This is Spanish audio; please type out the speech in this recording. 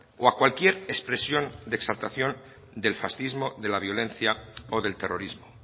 o a cualquier expresión de exaltación del fascismo de la violencia o del terrorismo